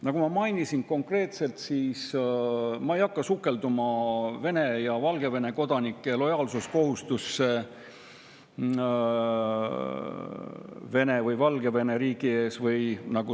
Nagu ma mainisin, ma ei hakka sukelduma Vene ja Valgevene kodanike lojaalsuskohustusse Vene või Valgevene riigi ees.